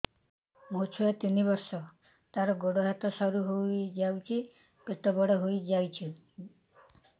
ମୋ ଛୁଆ ତିନି ବର୍ଷ ତାର ଗୋଡ ହାତ ସରୁ ହୋଇଯାଉଛି ପେଟ ବଡ ହୋଇ ଯାଉଛି